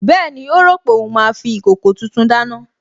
Bẹ́ẹ̀ni, ó rò pé òun máa fi ìkòkò tuntun dáná